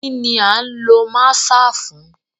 Kini a lo maaṣer fun?